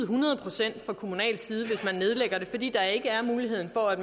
hundrede procent fra kommunal side hvis man nedlægger en skole fordi der ikke er mulighed for at